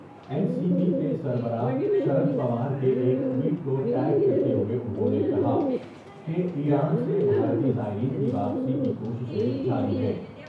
N C P کے سر براہ شرد پوار کے ایک ٹوئٹ کو ٹیگ کرتے ہوۓ انہوں نے کہا کہ ایران سے بھارتی زائرین کی واپسی کی کوششیں جاری ہیں ۔